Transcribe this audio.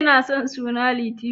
Kina son suna Litiyo?.